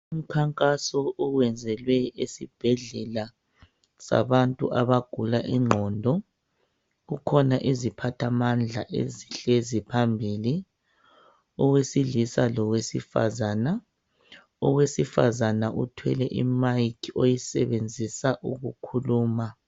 Umkhankaso owenzelwe esibhedlela sabantu abagula ingqondo kukhona iziphathamandla ezihlezi phambili owesilisa lowe sifazana. Owesifazana uthwele i mic oyisebenzisa ukukhuluma.